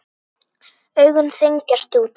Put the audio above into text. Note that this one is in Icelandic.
Augun þenjast út.